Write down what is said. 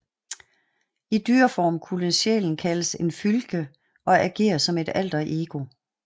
I dyreform kunne sjælen kaldes en fylgje og agere som et alterego